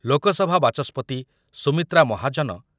ଲୋକସଭା ବାଚସ୍ପତି ସୁମିତ୍ରା ମାହାଜନ